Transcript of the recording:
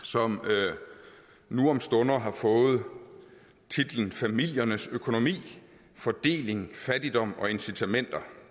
som nu om stunder har fået titlen familiernes økonomi fordeling fattigdom og incitamenter